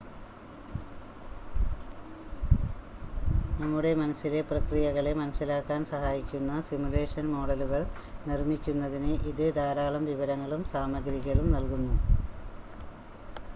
നമ്മുടെ മനസ്സിലെ പ്രക്രിയകളെ മനസ്സിലാക്കാൻ സഹായിക്കുന്ന സിമുലേഷൻ മോഡലുകൾ നിർമ്മിക്കുന്നതിന് ഇത് ധാരാളം വിവരങ്ങളും സാമഗ്രികളും നൽകുന്നു